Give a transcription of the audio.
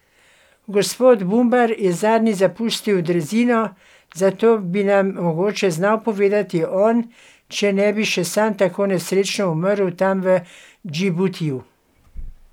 Gospod Bumbar je zadnji zapustil drezino, zato bi nam mogoče znal povedati on, če ne bi še sam tako nesrečno umrl tam v Džibutiju.